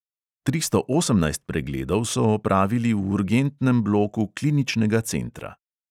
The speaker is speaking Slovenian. Tristo osemnajst pregledov so opravili v urgentnem bloku kliničnega centra.